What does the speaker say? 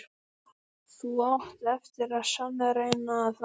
Þú átt eftir að sannreyna það.